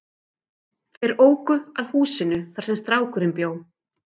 Þeir óku að húsinu þar sem strákurinn bjó.